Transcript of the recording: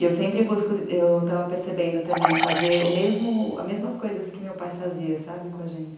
E eu sempre busco, eu estava percebendo também, fazer o mesmo, as mesmas coisas que meu pai fazia, sabe, com a gente.